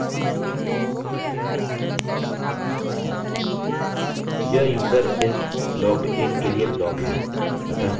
यह user is logged in के लिए ब्लॉक है अतः मानते हैं कि यूज़र ने लॉगिन किया है लॉगिन की मौजूदगी की जाँच के बाद हमें भरने के लिए उन्हें एक फॉर्म देने की आवश्यकता है